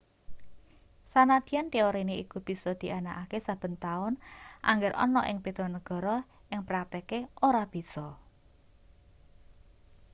sanadyan teorine iku bisa dianakake saben taun angger ana ing beda negara ing praktike ora bisa